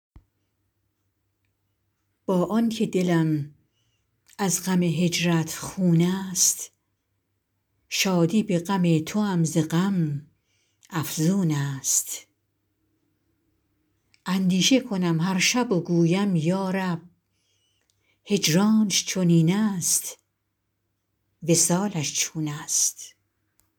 با آن که دلم از غم هجرت خون است شادی به غم توام ز غم افزون است اندیشه کنم هر شب و گویم یا رب هجرانش چنین است وصالش چون است